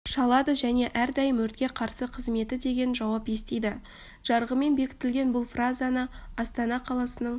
шалады және әрдайым өртке қарсы қызметі деген жауап естиді жарғымен бекітілген бұл фразаны астана қаласынынң